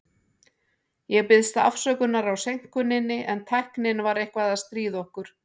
Ég biðst afsökunar á seinkuninni, en tæknin var eitthvað að stríða okkur.